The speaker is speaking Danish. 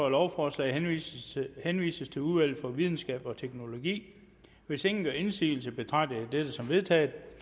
at lovforslaget henvises henvises til udvalget for videnskab og teknologi hvis ingen gør indsigelse betragter jeg dette som vedtaget